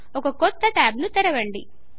ఒక కొత్త ట్యాబు ను తెరవండి